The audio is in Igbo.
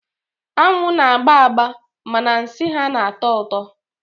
Anwụ na-agba agba mana nsị ha na-atọ ụtọ.